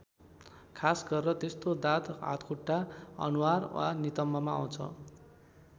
खास गरेर त्यस्तो दाद हातखुट्टा अनुहार वा नितम्बमा आउँछ।